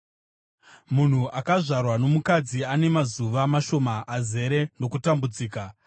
“Munhu akazvarwa nomukadzi ane mazuva mashoma azere nokutambudzika.